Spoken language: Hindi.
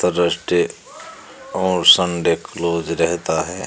थ्रस्डे और संडे क्लोज रहता है।